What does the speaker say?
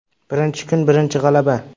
Birinchi kun birinchi g‘alaba.